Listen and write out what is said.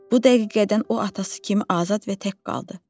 Bu dəqiqədən o atası kimi azad və tək qaldı.